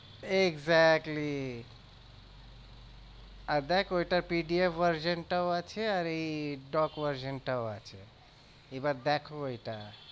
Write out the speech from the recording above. Exactly আর দেখ ওইটা PDF version টাও আছে আর এই doc version টাও আছে এবার দেখ ওইটা।